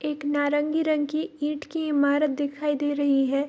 एक नारंगी रंग की ईट की ईमारत दिखाई दे रही है।